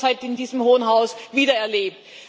Ich habe das heute in diesem hohen Haus wieder erlebt.